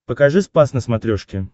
покажи спас на смотрешке